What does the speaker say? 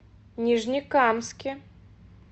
нижнекамске